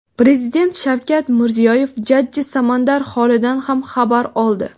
Prezident Shavkat Mirziyoyev jajji Samandar holidan ham xabar oldi.